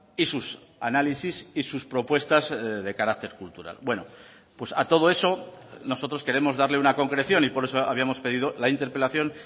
y sus análisis y sus propuestas de carácter cultural bueno pues a todo eso nosotros queremos darle una concreción y por eso habíamos pedido la interpelación